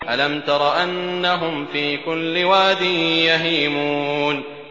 أَلَمْ تَرَ أَنَّهُمْ فِي كُلِّ وَادٍ يَهِيمُونَ